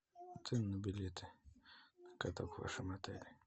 цены на билеты на каток в вашем отеле